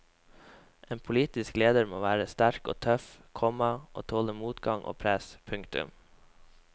En politisk leder må være sterk og tøff, komma og tåle motgang og press. punktum